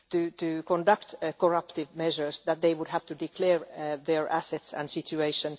to conduct corruptive measures that they would have to declare their assets and situation.